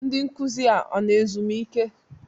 Ndị nkuzi a na ezumike?